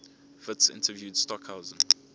witts interviewed stockhausen